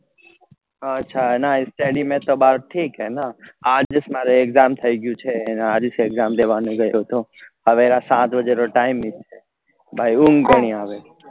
અચ્છા અને study મતલબ હાલ ઠીક હે ને સવેરા સાત બજે નો time ઉંગ કોની આવે